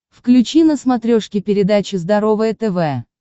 включи на смотрешке передачу здоровое тв